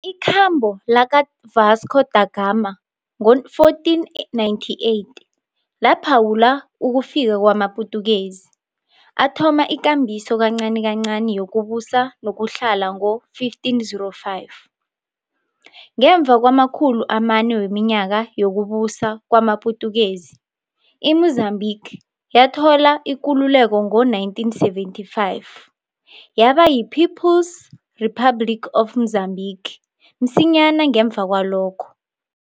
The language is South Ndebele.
Ikhambo laka-Vasco da Gama ngo-1498 laphawula ukufika kwamaPutukezi, athoma ikambiso kancanikancani yokubusa nokuhlala ngo-1505. Ngemva kwamakhulu amane weminyaka yokubusa kwamaPutukezi, i-Mozambique yathola ikululeko ngo-1975, yaba yi-People's Republic of Mozambique msinyana ngemva kwalokho.